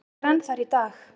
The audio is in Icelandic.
Ég er enn þar í dag.